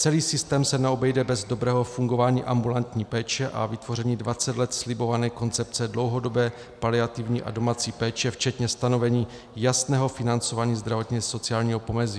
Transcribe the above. Celý systém se neobejde bez dobrého fungování ambulantní péče a vytvoření 20 let slibované koncepce dlouhodobé paliativní a domácí péče včetně stanovení jasného financování zdravotně-sociálního pomezí.